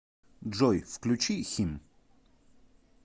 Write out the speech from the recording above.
джой включи хим